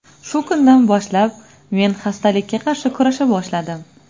Shu kundan boshlab men xastalikka qarshi kurasha boshladim.